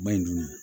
Ba in dun